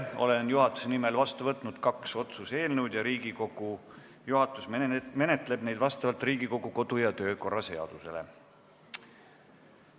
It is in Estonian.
Olen juhatuse nimel vastu võtnud kaks otsuse eelnõu, Riigikogu juhatus menetleb neid vastavalt Riigikogu kodu- ja töökorra seadusele.